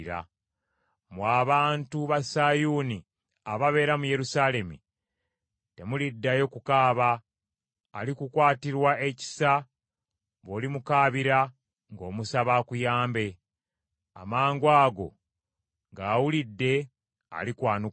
Mmwe abantu ba Sayuuni ababeera mu Yerusaalemi, temuliddayo kukaaba. Alikukwatirwa ekisa bw’olimukaabira ng’omusaba akuyambe. Amangwago ng’awulidde, alikwanukula.